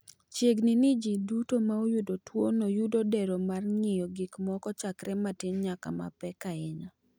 Chiegni ni ji duto ma oyudo tuwono yudo dero mar ng’iyo gik moko chakre matin nyaka mapek ahinya.